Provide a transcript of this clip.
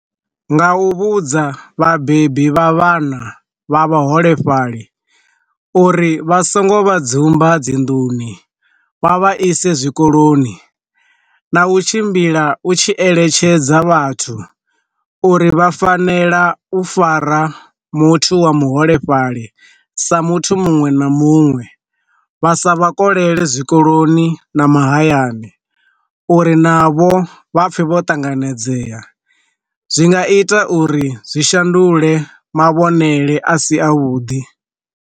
Nga u vhudza vhabebi vha vhana vha vhaholefhali uri vha songo vha dzumba dzinḓuni wa vha ise zwikoloni, na u tshimbila u tshi eletshedza vhathu uri vha fanela u fara muthu wa muholefhali sa muthu munwe na munwe vha sa vha kolela zwikoloni na mahayani, uri navho vha pfhe vho ṱanganedzea, zwi nga ita uri zwi shandule ma vhonele a si a vhuḓi.